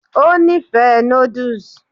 ó nífẹ̀ẹ́ noodles